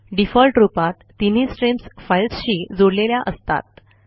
default रूपात तीनही streams फाईल्सशी जोडलेल्या असतात